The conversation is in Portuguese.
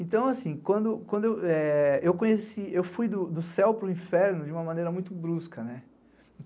Então assim, quando eu fui do céu para o inferno de uma maneira muito brusca.